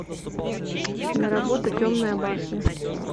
киноработа темная башня